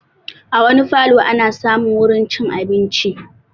A wani falo ana samun wurin cin abinci